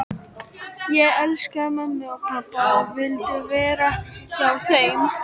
Ég elskaði mömmu og pabba og vildi vera hjá þeim.